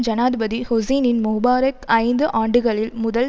ஜனாதிபதி Hosni Mubarak ஐந்து ஆண்டுகளில் முதல்